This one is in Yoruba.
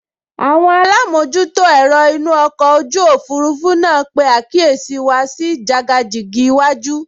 Àwọn alámojútó ẹ̀rọ inú ọkọ̀ ojú òfurufú náà pe àkíyèsí wa sí jàgàjìgì iwájú